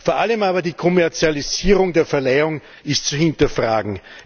Vor allem aber die Kommerzialisierung der Verleihung ist zu hinterfragen.